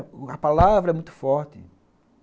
A palavra é muito forte.